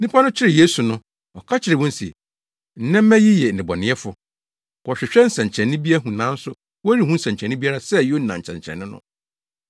Nnipa no kyeree Yesu so no, ɔka kyerɛɛ wɔn se, “Nnɛ mma yi yɛ nnebɔneyɛfo. Wɔhwehwɛ nsɛnkyerɛnne bi ahu nanso wɔrenhu nsɛnkyerɛnne biara sɛ Yona nsɛnkyerɛnne no.